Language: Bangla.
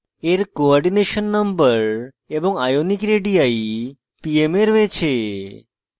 এর coordination number cn এবং ionic radii pm এ রয়েছে